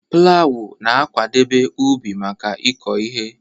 Plawu na-akwadebe ubi maka ịkụ ihe.